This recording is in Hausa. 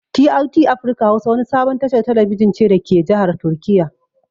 TRT afirka hausa wani sabon tashar talabijin ce dake jahar turkiya